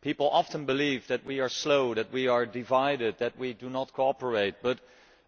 People often believe that we are slow, that we are divided, that we do not cooperate, but